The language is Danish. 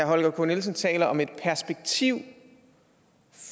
holger k nielsen taler om et perspektiv